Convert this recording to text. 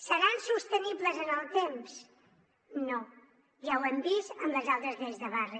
seran sostenibles en el temps no ja ho hem vist amb les altres lleis de barri